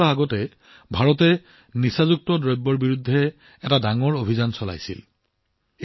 দুসপ্তাহ পূৰ্বে ভাৰতে ড্ৰাগছৰ বিৰুদ্ধে বৃহৎ ব্যৱস্থা গ্ৰহণ কৰিছিল